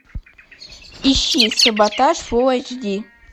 ищи саботаж фулл эйч ди